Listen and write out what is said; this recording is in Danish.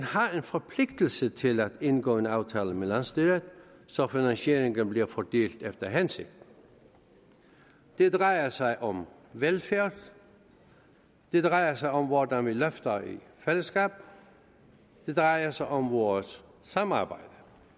har en forpligtelse til at indgå en aftale med landsstyret så finansieringen kan blive fordelt efter hensigten det drejer sig om velfærd det drejer sig om hvordan vi løfter i fællesskab det drejer sig om vores samarbejde